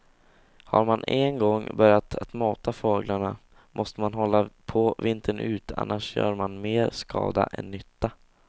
Har man en gång börjat att mata fåglarna måste man hålla på vintern ut annars gör man mer skada än nytta.